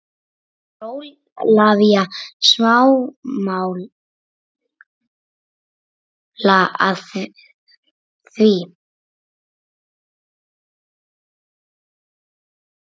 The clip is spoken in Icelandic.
En er Ólafía sammála því?